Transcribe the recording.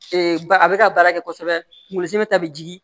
ba a bɛ ka baara kɛ kosɛbɛ kunkolosɛ ta bɛ jigin